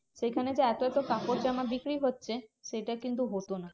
সেখানে যে এত এত কাপড়জামা বিক্রি হচ্ছে সেটা কিন্তু হতো না।